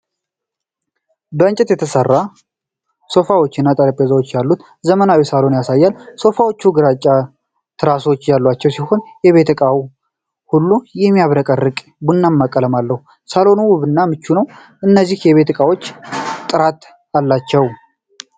ከእንጨት የተሠሩ ሶፋዎችና ጠረጴዛዎች ያሉት ዘመናዊ ሳሎን ያሳያል። ሶፋዎቹ ግራጫ ትራሶች ያላቸው ሲሆን የቤት እቃው ሁሉ የሚያብረቀርቅ ቡናማ ቀለም አለው። ሳሎኑ ውብና ምቹ ነው። እነዚህ የቤት እቃዎች ጥራት አላቸው?